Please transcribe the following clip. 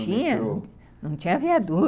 tinha viaduto, não tinha viaduto.